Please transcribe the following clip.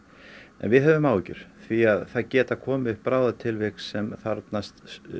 en við höfum áhyggjur því það geta komið upp bráðatilvik sem þarfnast